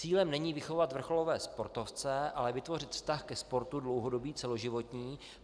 Cílem není vychovat vrcholové sportovce, ale vytvořit vztah ke sportu dlouhodobý, celoživotní.